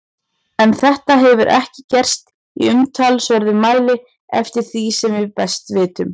En þetta hefur ekki gerst í umtalsverðum mæli eftir því sem við best vitum.